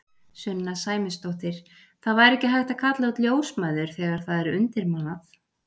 Sunna Sæmundsdóttir: Það væri ekki hægt að kalla út ljósmæður þegar það er undirmannað?